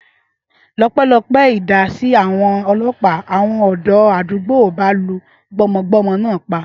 Ọpẹ́lọpẹ́ ìdásí àwọn ọlọ́pàá, àwọn ọ̀dọ́ àdúgbò ì bá lu gbọ́mọgbọ́mọ náà pa